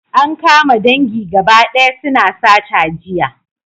An kama dangi gaba daya suna sata jiya